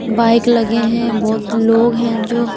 bike लगे हैं बहुत लोग हैं जो--